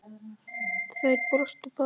Þær brostu báðar.